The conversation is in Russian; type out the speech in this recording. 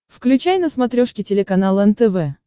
включай на смотрешке телеканал нтв